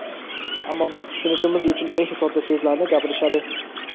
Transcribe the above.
ammo biz tushunishimiz uchun eng sodda so‘zlarni gapirishadi.